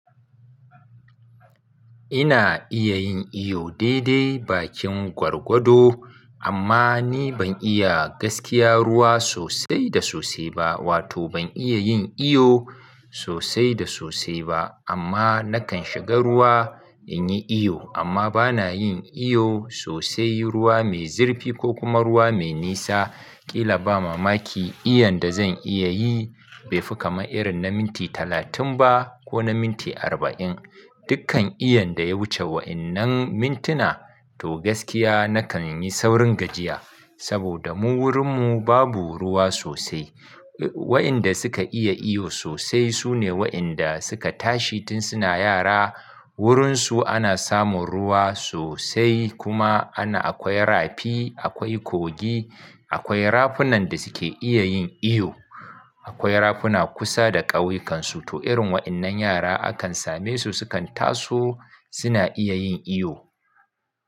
Ina iya yin iyo daidai bakin gwargwado amma ni ban iya gaskiya ruwa sosai da sosai ba, wato ban iya yin iyo sosai da sosai ba amma nakan shiga ruwa in yi iyo amma bana yin iyo sosai ruwa mai zirfi ko kuma ruwa mai nisa. Kila ba mamaki, iyanda zan iya yi bai fi kamar irin na minti talatin ba ko na minti arba'in. Dukkan iyanda ya wuce wa'yannan mintuna to gaskiya nakan yi saurin gajiya saboda mu wurinmu babu ruwa sosai. Wa'yanda suka iya iyo sosai su ne wa'yanda suka tashi tun suna yara wurinsu ana samun ruwa sosai kuma ana akwai rafi, akwai kogi, akwai rafunan da suke iya yin iyo. Akwai rafuna kusa da ƙauyikan su to irin wa'innan yara akan same su sukan taso suna iya yin iyo.